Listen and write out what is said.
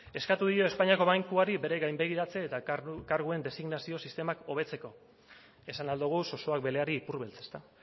eskatu dio espainiako bankuari bere gainbegiratze eta karguen designazio sistemak hobetzeko esan ahal dugu zozoak beleari ipurbeltz ezta